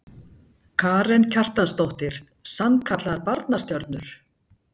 Karen Kjartansdóttir: Sannkallaðar barnastjörnur?